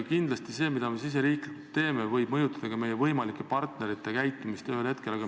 Kindlasti see, mida me riigis sees teeme, võib mõjutada meie võimalike partnerite käitumist ühel hetkel.